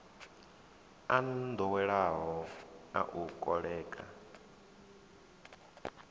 a nḓowelo a u koḽeka